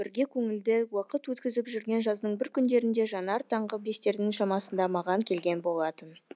бірге көңілді уақыт өткізіп жүрген жаздың бір күндерінде жанар таңғы бестердің шамасында маған келген болатын